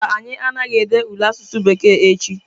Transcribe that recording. Mba, anyị anaghị ede ule asụsụ bekee echi.